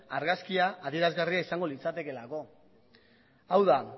argazkia adierazgarria izango litzatekeelako hau da